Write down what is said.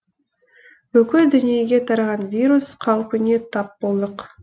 бүкіл дүниеге тараған вирус қаупіне тап болдық